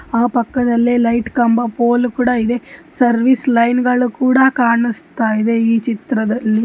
ಆ ಪಕ್ಕದಲ್ಲೆ ಲೈಟ್ ಕಂಬ ಪೋಲು ಕೂಡ ಇದೆ ಸರ್ವಿಸ್ ಲೈನ್ ಗಳು ಕೂಡ ಕಾಣಸ್ತಾಯ್ದೆ ಈ ಚಿತ್ರದಲ್ಲಿ --